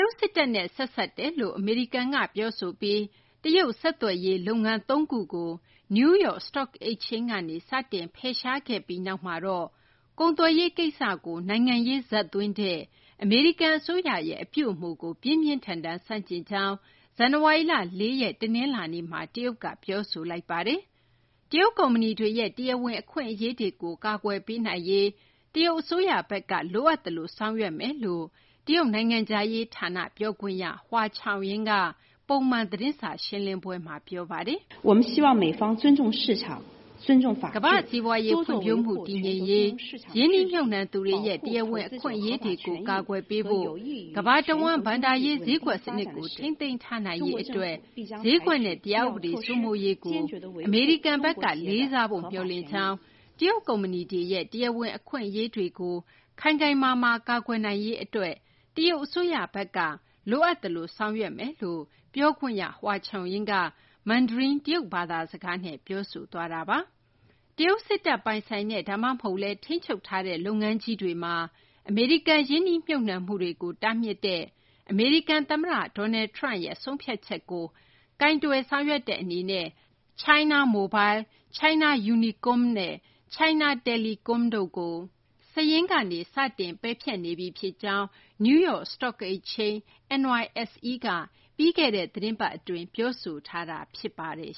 ုတ် စစ်တပ်နဲ့ ဆက်စပ်တယ်လို့ အမေရိကန်က ပြောဆိုပြီး တရုတ် ဆက်သွယ်ရေး နည်းပညာ လုပ်ငန်း ၃ ခုကို New York Stock Exchange ကနေ စတင် ဖယ်ရှာခဲ့ပြီးနောက်မှာတော့ ကုန်သွယ်ရေး ကိစ္စကို နိုင်ငံရေးဇာတ်သွင်းတဲ့ အမေရိကန် အစိုးရရဲ့ အပြုအမူကို ပြင်းပြင်းထန်ထန် ဆန့်ကျင်ကြောင်း ဇန်နဝါရီလ ၄ ရက် တနလာၤနေ့မှာ တရုတ်က ပြောဆိုလိုက်ပါတယ်။ တရုတ် ကုမ္ပဏီတွေရဲ့ တရားဝင် အခွင့်အရေးတွေကို ကာကွယ်ပေးနိုင်ရေး တရုတ် အစိုးရဘက်က လိုအပ်သလို ဆောင်ရွက်သွားမယ်လို့ တရုတ်နိုင်ငံခြားရေး ဌာန ပြောခွင့်ရ Hua Chunying က ပုံမှန် သတင်းစာ ရှင်းလင်းပွဲမှာ ပြောပါတယ်။ ကမ္ဘာ့စီးပွားရေး ဖွံ့ဖြိုးမှု တည်ငြိမ်ရေး၊ ရင်းနှီးမြှုပ်နှံသူတွေရဲ့ တရားဝင် အခွင့်အရေးတွေကို ကာကွယ်ပေးဖို့၊ ကမ္ဘာတဝန်း ဘဏ္ဍာရေး ဈေးကွက် စနစ်ကို ထိန်းသိမ်းထားနိုင်ရေး အတွက် ဈေးကွက်နဲ့ တရားဥပဒေ စိုးမိုးရေးကို အမေရိကန်ဘက်က လေးစားဖို့ မျှော်လင့်ကြောင်း၊ တရုတ် ကုမ္ပဏီတွေရဲ့ တရားဝင် အခွင့်အရေးတွေကို ခိုင်ခိုင်မာမာ ကာကွယ်နိုင်ရေး အတွက် တရုတ် အစိုးရဘက်က လိုအပ်သလို ဆောင်ရွက်သွားမယ့် အကြောင်း ပြောခွင့်ရ Hua Chunying က မန်ဒရင်း တရုတ်ဘာသာ စကားနဲ့ ပြောဆိုသွားတာပါ။ တရုတ် စစ်တပ် ပိုင်ဆိုင်တဲ့ ဒါမှမဟုတ်လည်း ထိန်းချုပ်ထားတဲ့ လုပ်ငန်းကြီးတွေမှာ အမေရိကန် ရင်းနှီးမြှုပ်နှံမှုတွေကို တားမြစ်တဲ့ အမေရိကန် သမ္မတ Donald Trump ရဲ့ ဆုံးဖြတ်ချက်ကို ကိုင်တွယ်ဆောင်ရွက်တဲ့ အနေနဲ့ China Mobile၊ China Unicom နဲ့ China Telecom တို့ကို စာရင်းကနေ စတင် ပယ်ဖျက်နေပြီ ဖြစ်ကြောင်း New York Stock Exchange NYSE က ပြီးခဲ့တဲ့ သီတင်းပတ် အတွင်းက ပြောဆိုထားတာ ဖြစ်ပါတယ်